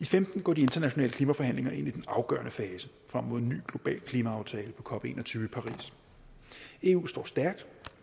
femten går de internationale klimaforhandlinger ind i den afgørende fase frem mod en ny global klimaaftale på cop en og tyve i paris eu står stærkt